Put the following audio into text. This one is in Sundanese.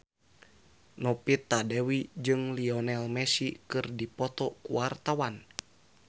Novita Dewi jeung Lionel Messi keur dipoto ku wartawan